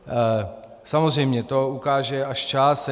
Samozřejmě, to ukáže až čas.